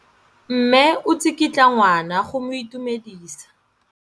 Mme o tsikitla ngwana go mo itumedisa.